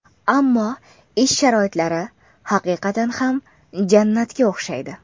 Ammo ish sharoitlari haqiqatan ham jannatga o‘xshaydi.